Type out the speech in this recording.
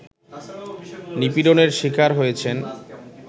নিপীড়নের শিকার হয়েছেন